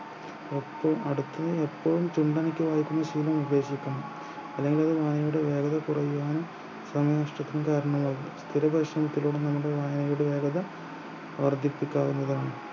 എപ്പോം അടുത്ത് ന്ന് എപ്പോഴും ചുണ്ടനക്കി വായിക്കുന്ന ശീലം ഉപേക്ഷിക്കണം അല്ലെങ്കിൽ വായനയുടെ വേഗത കുറയാനും തന്നിഷ്ടത്തിനി കാരണമാകുന്നു ഒരുപക്ഷെ നമ്മുടെ വായനയുടെ വേഗത വർധിപ്പിക്കാവുന്നതാണ്